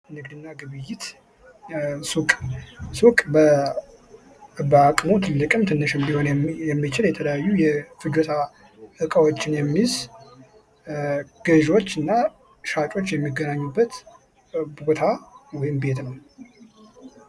ንግድ እና ግብይት ሱቅ ሱቅ በአቅሙ ትልቅም ትንሽም ሊሆን የሚችል የተለያዩ የፍጆታ እቃዎችን የሚይዝ ገዎች እና ሻጮች የሚገናኙበት ቦታ ወይም ቤት ነው::